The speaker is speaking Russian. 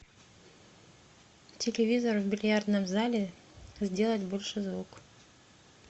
телевизор в бильярдном зале сделать больше звук